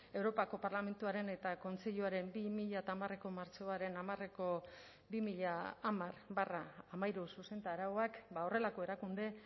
europako parlamentuaren eta kontseiluaren bi mila hamareko martxoaren hamareko bi mila hamar barra hamairu zuzentarauak horrelako erakunde